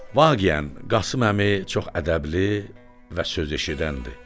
Vaqiən, Qasım Əmi çox ədəbli və söz eşidəndi.